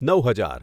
નવ હજાર